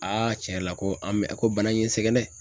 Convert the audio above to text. tiɲɛ yɛrɛ la ko an bɛ ko bana in sɛgɛn dɛ.